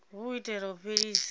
hu u itela u fhelisa